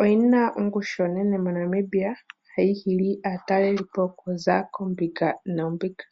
Oyi na ongushu onene moNamibia hayi hili aataleli po okuza koombinga noombinga.